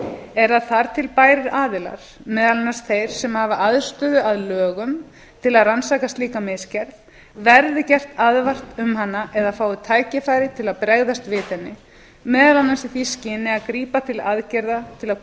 er að þar til bærir aðilar meðal annars þeir sem hafa aðstöðu að lögum til að rannsaka slíka misgerð verði gert aðvart um hana eða fái tækifæri til að bregðast við henni meðal annars í því skyni að grípa til aðgerða til að